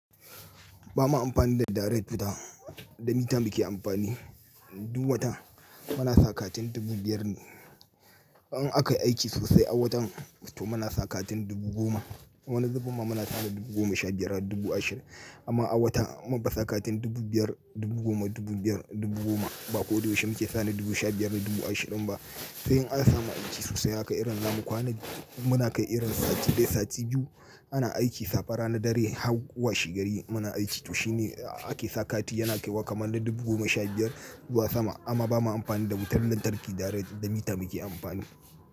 Ba ma amfani da daret ta, da mita muke amfani. Duk wata muna saka katin dubu biyar ne. In aka yi aiki sosai a watan to muna sa katin dubu goma. A wani zubin ma muna sa na dubu goma sha biyar har dubu ashirin. Amma a wata ma ba sa katin dubu biyar, dubu goma, dubu biyar, dubu goma ba ko da yaushe muke sa na dubu sha biyar da dubu ashirin ba. Sai in an samu aiki sosai haka irin lamu kwana muna kai irin sati ɗaya, sati biyu ana aiki safe rana dare har wa shegari muna aiki. To shi ne ake sa kati yana kaiwa kamar na dubu goma sha biyar zuwa sama. Amma ba ma amfani da wutar lantarki daret da mita muke amfani.